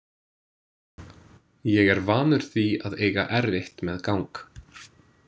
Ég er vanur því að eiga erfitt með gang.